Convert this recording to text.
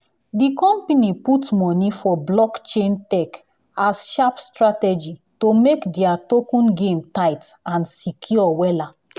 the company put money for blockchain tech as sharp strategy to make their token game tight and secure wella.